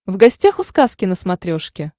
в гостях у сказки на смотрешке